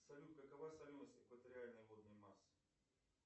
салют какова соленость экваториальной водной массы